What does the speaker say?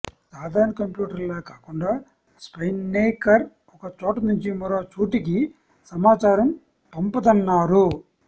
సాధారణ కంప్యూటర్లలా కాకుండా స్పైన్నేకర్ ఒక చోట నుంచి మరో చోటికి సమాచారం పంపదన్నారు